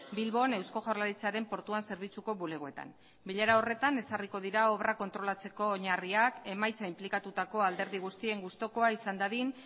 bilbon eusko jaurlaritzaren portuan zerbitzuko bulegoetan bilera horretan ezarriko dira obrak kontrolatzeko oinarriak emaitza inplikatutako alderdi guztien gustukoa izan dadin